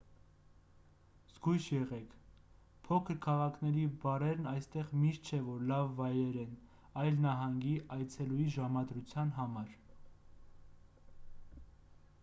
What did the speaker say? զգույշ եղեք փոքր քաղաքների բարերն այստեղ միշտ չէ որ լավ վայրեր են այլ նահանգի այցելուի ժամադրության համար